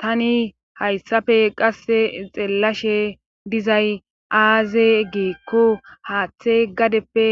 Tani hayssafe qasse xeellashe dizay aaze geekko haaththey gadeppe